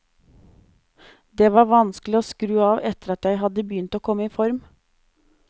Det var vanskelig å skru av etter at jeg hadde begynt å komme i form.